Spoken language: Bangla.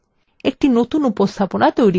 একটি নতুন উপস্থাপনা তৈরি করুন